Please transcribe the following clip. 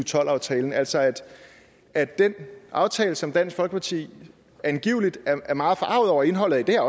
tolv aftalen altså at at den aftale som dansk folkeparti angiveligt er meget forarget over indholdet af det er